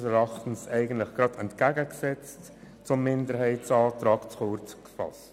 Die Frist von sechs Monaten ist unseres Erachtens, entgegengesetzt zum Minderheitsantrag, zu kurz gefasst.